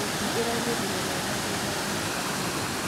Nyeki ĩraumĩrire wega thutha wa mbura nene.